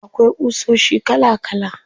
Akwai ƙusoshi kala kala.